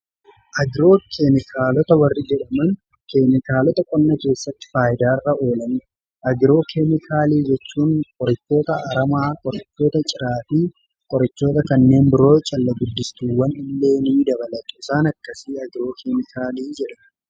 agiroo keemikaalota warri jedhaman keemikaalota qonna eessatti faayidaarra oolan agiroo keemikaallii jechuun qorachoota aramaa qorachoota ciraafii qorachoota kanneen biroo callaa guddistuuwwan illeenii dabalata isaan akkasii agiroo keemikaalii jedhamu.